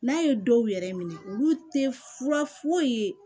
N'a ye dɔw yɛrɛ minɛ olu tɛ fura foyi ye